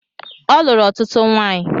Ọ lụrụ ọtụtụ nwanyi